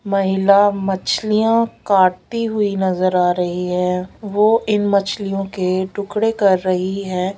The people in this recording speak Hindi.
महिला मछलियां काटती हुई नजर आ रही है। वो इन मछलियों के टुकड़े कर रही है।